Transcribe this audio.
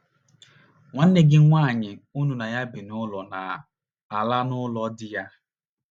Nwanne gị nwaanyị unu na ya bi n’ụlọ na - ala n’ụlọ di ya.